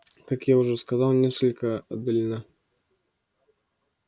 как я уже сказал несколько отдалена